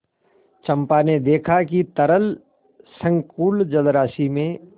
चंपा ने देखा कि तरल संकुल जलराशि में